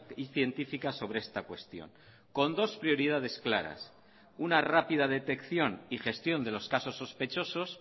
y científica sobre esta cuestión con dos prioridades claras una rápida detección y gestión de los casos sospechosos